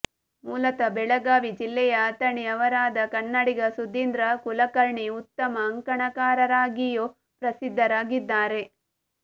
ಮೂಲತಃ ಬೆಳಗಾವಿ ಜಿಲ್ಲೆಯ ಅಥಣಿ ಅವರಾದ ಕನ್ನಡಿಗ ಸುಧೀಂದ್ರ ಕುಲಕರ್ಣಿ ಉತ್ತಮ ಅಂಕಣಕಾರರಾಗಿಯೂ ಪ್ರಸಿದ್ಧರಾಗಿದ್ದಾರೆ